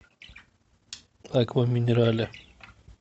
аква минерале